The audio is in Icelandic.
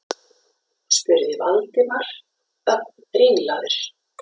spurði Valdimar, ögn ringlaður.